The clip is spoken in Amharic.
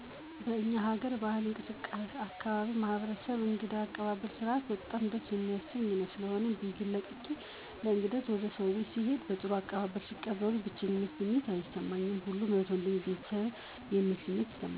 በእኛ ሀገር ባህል የአካባቢያችን ማህበረሰብ እንግዳ አቀባበል ስነስርዓት በጣም ደስ የሚያሰኝ ነዉ። ስለሆነም ቤቴን ለቅቄ ለእንግድነት ወደ ሰዉ ቤት ስሄድ በጥሩ አቀባበል ሲቀበሉኝ የብቼኝነት ስሜት አይሰማኝም ሁሉም ወንድሜ እህቴ(ቤተሰቤ) ነዉ የሚል ስሜት ይሰማኛል።